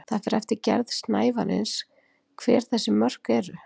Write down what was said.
það fer eftir gerð snævarins hver þessi mörk eru